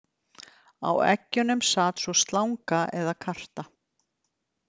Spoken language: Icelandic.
Á eggjunum sat svo slanga eða karta.